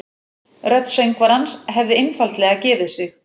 Rödd söngvarans hefði einfaldlega gefið sig